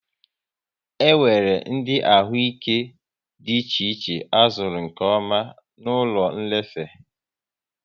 E nwéré ndị ahụ ike dị iche iche a zụrụ nkeọma na ụlọ nlefe